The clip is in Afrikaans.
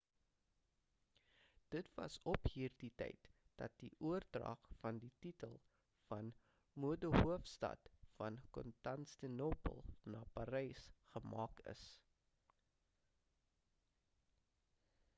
dit was op hierdie tyd dat die oordrag van die titel van modehoofstad van konstantinopel na parys gemaak is